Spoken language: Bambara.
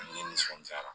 Ni nisɔndiyara